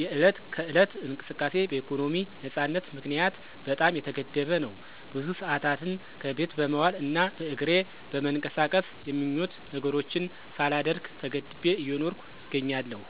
የዕለት ከዕለት እንቅስቃሴ በኢኮኖሚ ነፃነት ምክንያት በጣም የተገደበ ነው። ብዙ ሰአታትን ከቤት በመዋል እና በእግሬ በመንቀሳቀስ የምኞት ነገሮችን ሳላደርግ ተገድቤ እየኖርኩ እገኛለሁ።